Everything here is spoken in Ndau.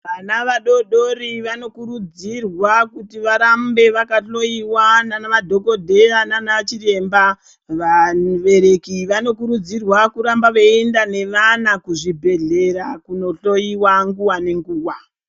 Vana vadori dori vanokurudzirwa kuti varambe vakahloyiwa nanamadhokodheya nanachiremba. Vabereki vanokurudzirwa kuramba veienda nevana kuzvibhedhlera kunohloyiwa nguwa nenguwa.